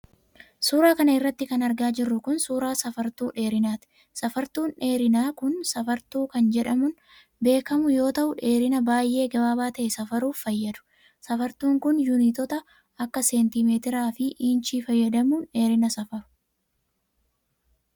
Suura kana irratti kan argaa jirru kun, suura safartuu dheerinaati. Safartuun dheerinaa kun, sarartuu kan jedhamuun beekamu yoo ta'u, dheerina baay'ee gabaabaa ta'e safaruuf fayyadu. Safartuun kun, yuunitoota akka seentiimeetiraa fi iinchii fayyadamuun dheerina safaru.